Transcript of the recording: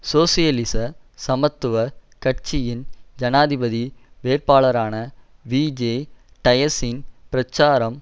சோசியலிச சமத்துவ கட்சியின் ஜனாதிபதி வேட்பாளரான விஜே டயஸின் பிரச்சாரம்